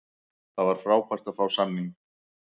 Það var frábært að fá samninginn.